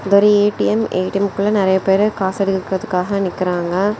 இது ஒரு ATM ATM குள்ள நிறைய பேரு காசு எடுக்குறதுக்காக நிக்கிறாங்க.